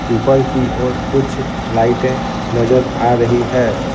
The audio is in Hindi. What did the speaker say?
ऊपर की ओर कुछ लाइटें नजर आ रही है।